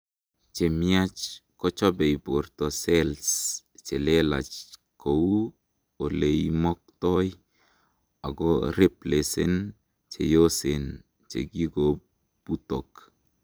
chemiach, kochobei borto cells chelelach kou oleimoktoi, akoreplacen cheyosen chekikobutok